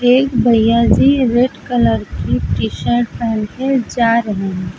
एक भैया जी रेड कलर की टी शर्ट पहन के जा रहे हैं।